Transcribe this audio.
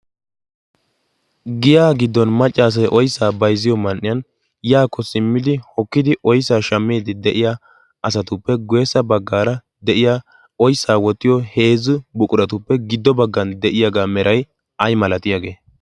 giya giddon maccaasai oissaa baizziyo man77iyan yaakko simmidi hokkidi oissaa shammiidi de7iya asatuppe guyyessa baggaara de7iya oissaa wottiyo heezzu buquratuppe giddo baggan de7iyaagaa merai ai malatiyaagee?